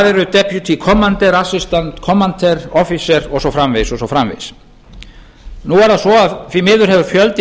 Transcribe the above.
eru deputy commander assistant commander officer og svo framvegis og svo framvegis nú er það svo að því miður hefur fjöldi